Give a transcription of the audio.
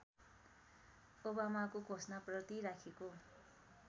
ओबामाको घोषणाप्रति राखेको